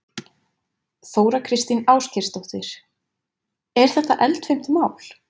Þóra Kristín Ásgeirsdóttir: Er þetta eldfimt mál?